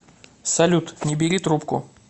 салют не бери трубку